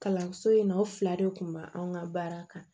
Kalanso in na o fila de kun b'an ka baara kan